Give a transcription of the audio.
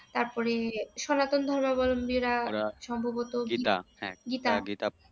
তারপরে সনাতন ধর্মাবল্বীরা সম্ভবত। গীতা